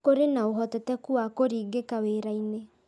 Kũrĩ na ũhotekeku wa kũringĩka wĩra-inĩ